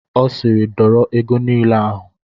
Ọ siiri dọrọ ego niile ahụ!